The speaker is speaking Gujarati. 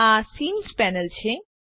આ સીન પેનલ છે